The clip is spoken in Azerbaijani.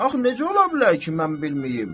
Axı necə ola bilər ki, mən bilməyim?